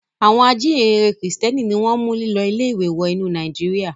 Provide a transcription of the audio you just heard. Àwọn ajíǹrere Kìrìtẹ́ẹ́nì ni wọ́n mú lílọ ilé-ìwé wọ inú Nàìjíríà.